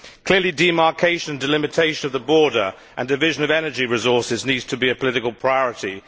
Clearly, demarcation and delimitation of the border and the division of energy resources need to be political priorities.